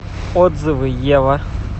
отзывы ева